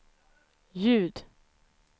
ljud